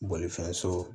Bolifɛn so